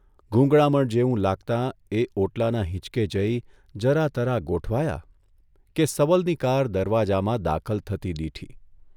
ગૂંગળામણ જેવું લાગતા એ ઓટલાના હીંચકે જઇ જરાતરા ગોઠવાયા કે સબલની કાર દરવાજામાં દાખલ થતી દીઠી.